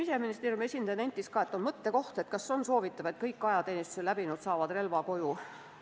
Siseministeeriumi esindaja nentis ka, et on mõttekoht, kas on ikka soovitav, et kõik ajateenistuse läbinud saaksid relva koju.